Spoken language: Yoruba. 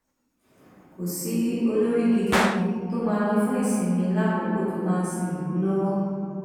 kò sí olórí gidi kan tó máa lò fún ìsinmi lákòókò tó bá ń sin ìlú lọwọ